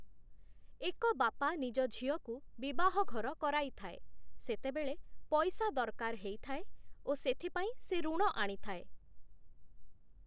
ଏକ ବାପା ନିଜ ଝିଅକୁ ବିବାହଘର କରିଥାଏ, ସେତେବେଳେ ପଇସା ଦରକାର ହୋଇଥାଏ ଓ ସେଥିପାଇଁ ସେ ଋଣ ଆଣିଥାଏ ।